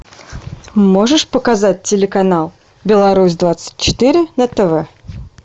можешь показать телеканал беларусь двадцать четыре на тв